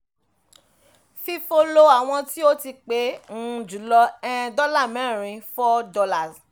fifo lo àwọn tí ó ti pẹ́ um jùlọ um dọ́là mẹ́rin